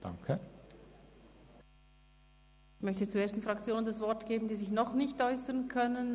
Ich möchte zuerst den Fraktionen das Wort geben, die sich noch nicht äussern konnten.